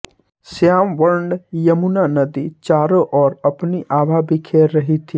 श्याम वर्ण यमुना नदी चारों और अपनी आभा बिखेर रही थी